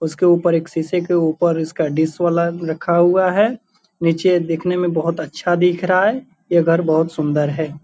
उसके ऊपर एक सीसे के ऊपर उसका डिश वाला रखा हुआ है। निचे दिखने में बहुत अच्छा दिख रहा है। ये घर बहुत सुन्दर है।